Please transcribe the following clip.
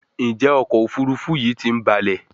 Njé ọkọ̀ òfurufú yi tí ń balè?